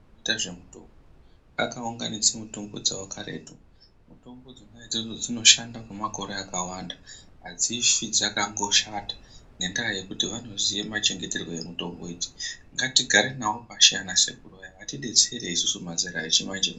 Anoita zvemitombo akaunganidza mitombo dzavo karetu mitombo dzona idzodzo dzinoshanda kwemakore akaanda. Hadzifi dzakamboshata ngendaa yekuti vanoziya machengeterwe amitombo idzi, ngatigare navo pashi ana sekuru aya atibetsere isusu mazera echimanje-manje.